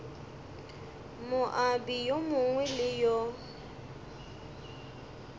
moabi yo mongwe le yo